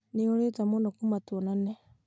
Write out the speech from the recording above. nĩũũrĩte mũno kuma tũonane